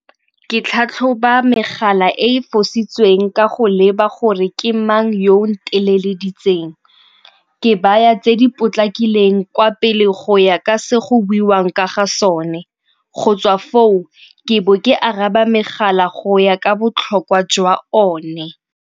Ke tlhatlhoba megala e e fositsweng ka go leba gore ke mang yo o nteleleditseng. Ke baya tse di potlakileng kwa pele go ya ka se go buiwang ka ga sone, go tswa foo ke bo ke araba megala go ya ka botlhokwa jwa one.